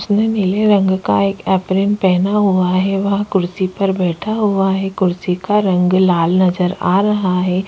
सुनने नीले रंग का है एक ऐप्रिन पहना हुआ है वह कुर्सी पर बैठा हुआ है कुर्सी का रंग लाल नजर आ रहा हैं।